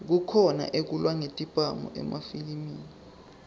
kukhona ekulwa ngetibhamu emafilimi